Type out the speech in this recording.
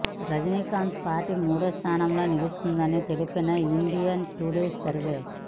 Rajinikanth party మూడో స్థానంలో నిలుస్తుందని తెలిపిన ఇండియా టుడే సర్వే